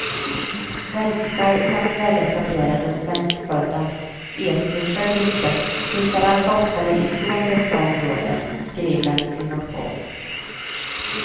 Svenskar samt väletablerade och svenskfödda etniska grupper flyttar allt oftare ifrån dessa områden, skriver han i sin motion.